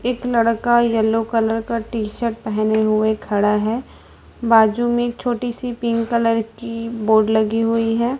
एक लड़का yellow colour का टी शर्ट पहने हुए खड़ा है बाजू में एक छोटी सी पिंक कलर की बोर्ड लगी हुई है।